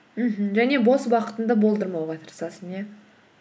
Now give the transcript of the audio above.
мхм және бос уақытыңды болдырмауға тырысасың иә